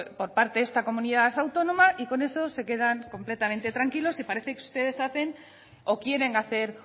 por parte de esta comunidad autónoma y con eso se quedan complemente tranquilos y parece que ustedes hacen o quieren hacer